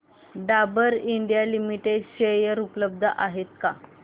Dabur India limited share उपलब्ध आहेत का